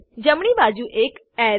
જમણી બાજુ એક અરે